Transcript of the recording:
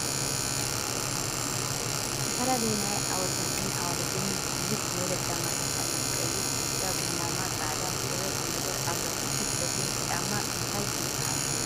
ዝተፈላለዩ ናይ ኣወዳትን ኣዋልድን ብዝሕ ዝበለ ጫማታት ኣሎ ። ቀይሕ ፣ቢጫ፣ ቡናማ፣ ፃዕዳ፣ ሸበጥ ነገር ኣሎ። እቲ ፀሊም ጫማ እንታይ ይበሃል ?